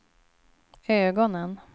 ögonen